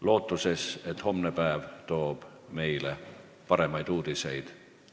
Loodame, et homne päev toob meile paremaid uudiseid.